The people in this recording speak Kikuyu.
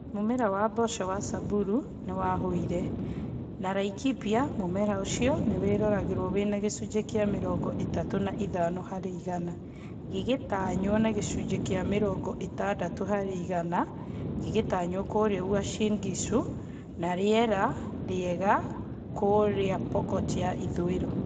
Mũmera wa mboco wa Samburu nĩ wahũire, na Laikipia mũmera ũcio nĩ waroragwo wina gĩcunjĩ kĩa mĩrongo ĩtatũ na itano harĩ igana gĩgĩtanywo na gĩcunjĩ kĩa mĩrongo ĩtandatũ harĩ igana gĩgĩtanywo kũrĩa Uasin Gishu na rĩera rĩega kũrĩa Pokot ya ithũiro.